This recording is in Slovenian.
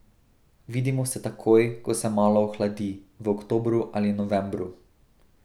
Vidimo se takoj, ko se malo ohladi, v oktobru ali novembru.